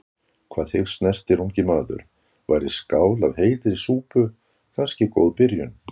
Hvað þig snertir, ungi maður, væri skál af heitri súpu kannski góð byrjun.